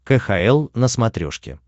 кхл на смотрешке